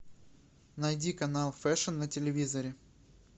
найди канал фэшн на телевизоре